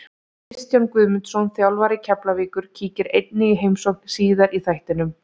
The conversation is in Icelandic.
Kristján Guðmundsson, þjálfari Keflavíkur, kíkir einnig í heimsókn síðar í þættinum.